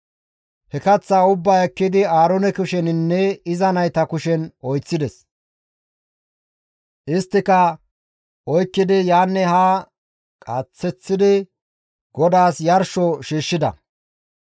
He kaththaa ubbaa ekkidi Aaroone kusheninne iza nayta kushen oyththides; isttika oykkidi yaanne haa qaaseththidi GODAAS yarsho shiishshida.